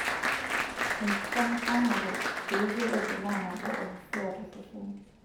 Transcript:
Enkishamishamare, eijoroto naa nabo oo hisia tosesen.